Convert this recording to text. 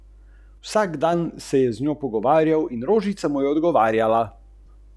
Povezljivost, kot jo poznamo danes, je za tiste, ki smo pred desetletji prve telefonske aparate označili za opeke, izjemna.